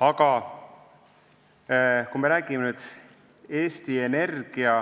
Aga kui me räägime Eesti Energia